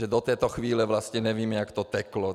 Že do této chvíle vlastně nevíme, jak to teklo.